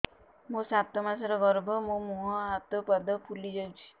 ମୋ ସାତ ମାସର ଗର୍ଭ ମୋ ମୁହଁ ହାତ ପାଦ ଫୁଲି ଯାଉଛି